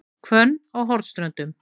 Hvönn á Hornströndum